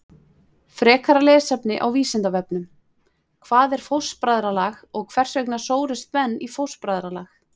Frekara lesefni á Vísindavefnum: Hvað er fóstbræðralag og hvers vegna sórust menn í fóstbræðralag?